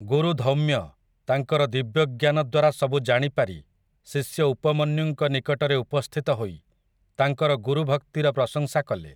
ଗୁରୁ ଧୌମ୍ୟ ତାଙ୍କର ଦିବ୍ୟଜ୍ଞାନ ଦ୍ୱାରା ସବୁ ଜାଣି ପାରି ଶିଷ୍ୟ ଉପମନ୍ୟୁଙ୍କ ନିକଟରେ ଉପସ୍ଥିତ ହୋଇ ତାଙ୍କର ଗୁରୁଭକ୍ତିର ପ୍ରଶଂସା କଲେ ।